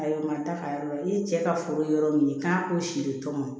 A ye matarafa yɔrɔ la i cɛ ka foro yɔrɔ min k'a ko si de tɔn